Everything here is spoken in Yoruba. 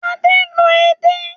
Adé ń lọ edé